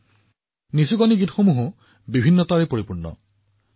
ওমলা গীতৰো নিজা বৈচিত্ৰ্য আছে